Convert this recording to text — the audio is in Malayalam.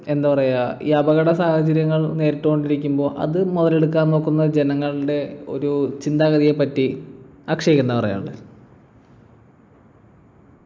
എന്താ പറയാ ഈ അപകട സാഹചര്യങ്ങൾ നേരിട്ടുകൊണ്ടിരിക്കുമ്പോ അത് മുതലെടുക്കാൻ നോക്കുന്ന ജനങ്ങളുടെ ഒരു ചിന്താഗതിയെപറ്റി അക്ഷയ്ക്ക് എന്താ പറയാനുള്ളേ